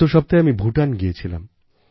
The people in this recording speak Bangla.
গত সপ্তাহে আমি ভুটান গিয়েছিলাম